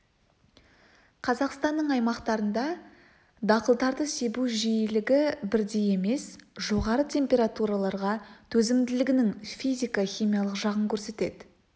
қазақстанның аймақтарында дақылдарды себу жиілігі бірдей емес жоғары температураларға төзімділігінің физико-химиялық жағын көрсетеді